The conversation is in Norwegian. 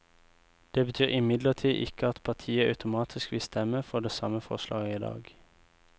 Det betyr imidlertid ikke at partiet automatisk vil stemme for det samme forslaget i dag.